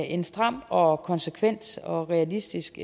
en stram og og konsekvent og realistisk